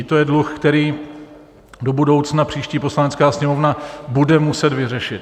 I to je dluh, který do budoucna příští Poslanecká sněmovna bude muset vyřešit.